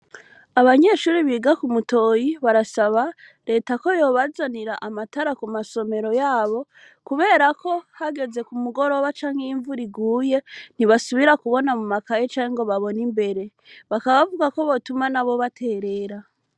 Abanyeshuri biga ku mutoyi barasaba leta ko yobazanira amatara ku masomero yabo kuberako hageze ku mugoroba canke y'imvura iguye ntibasubira kubona mu makaye canke ngo babona imbere, bakabavuga ko botuma na bo baterera.